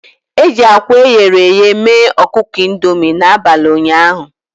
E ji akwa eghere eghe mee ọkụkọ Indomi n'abalị ụnyaahụ.